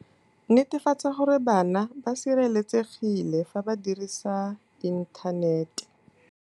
Netefatsa gore bana ba sireletsegile fa ba dirisa inthanete.